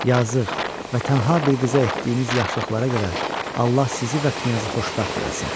Yazıq və tənha bir qıza etdiyiniz yaxşılıqlara görə Allah sizi və knyazı xoşbəxt eləsin.